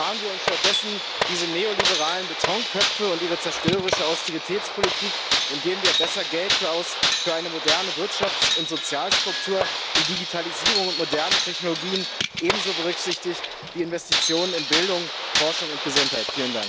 Sparen wir uns stattdessen diese neoliberalen Betonköpfe und ihre zerstörerische Austeritätspolitik und geben wir besser Geld aus für eine moderne Wirtschafts und Sozialstruktur, die Digitalisierung und moderne Technologien ebenso berücksichtigt wie Investitionen in Bildung, Forschung und Gesundheit!